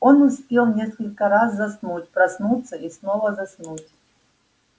он успел несколько раз заснуть проснуться и снова заснуть